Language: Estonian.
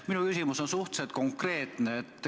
Minu küsimus on suhteliselt konkreetne.